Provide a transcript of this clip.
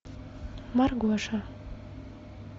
маргоша